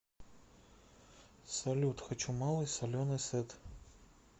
салют хочу малый соленый сет